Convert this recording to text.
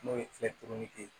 N'o ye ye